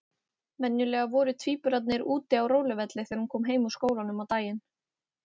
Venjulega voru tvíburarnir úti á róluvelli þegar hún kom heim úr skólanum á daginn.